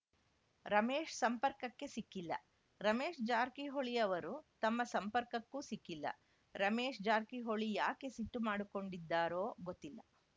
ರಮೇಶ್‌ ಸಂಪರ್ಕಕ್ಕೆ ಸಿಕ್ಕಿಲ್ಲ ರಮೇಶ್‌ ಜಾರಕಿಹೊಳಿ ಅವರು ತಮ್ಮ ಸಂಪರ್ಕಕ್ಕೂ ಸಿಕ್ಕಿಲ್ಲ ರಮೇಶ್‌ ಜಾರಕಿಹೊಳಿ ಯಾಕೆ ಸಿಟ್ಟು ಮಾಡಿಕೊಂಡಿದ್ದಾರೋ ಗೊತ್ತಿಲ್ಲ